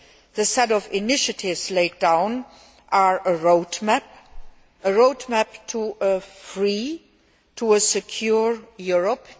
The set of initiatives laid down are a roadmap a roadmap to a free and secure Europe.